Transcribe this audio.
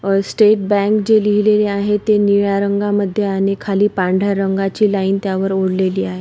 अह state bank जे लिहलेले आहे ते निळ्या रंगामध्ये आणि खाली पांढर्‍या रंगाची लाइन त्यावर ओढलेली आहे.